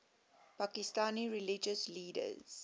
pakistani religious leaders